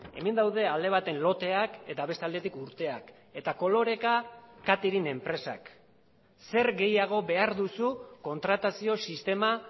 hemen daude alde baten loteak eta beste aldetik urteak eta koloreka catering enpresak zer gehiago behar duzu kontratazio sistema